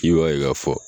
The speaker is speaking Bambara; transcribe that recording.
I b'a ye k'a fɔ